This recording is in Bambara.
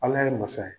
Ala ye masa ye